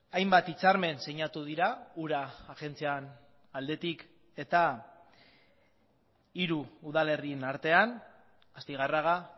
hainbat hitzarmen sinatu dira ura agentzian aldetik eta hiru udalerrien artean astigarraga